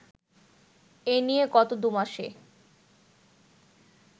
এ নিয়ে গত দু'মাসে